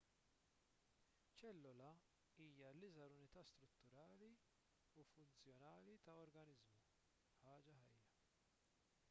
ċellola hija l-iżgħar unità strutturali u funzjonali ta' organiżmu ħaġa ħajja